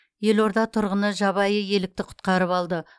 елорда тұрғыны жабайы елікті құтқарып алды